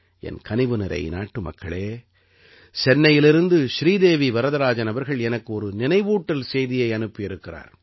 என் கனிவு நிறை நாட்டுமக்களே சென்னையிலிருந்து ஸ்ரீதேவி வரதராஜன் அவர்கள் எனக்கு ஒரு நினைவூட்டல் செய்தியை அனுப்பி இருக்கிறார்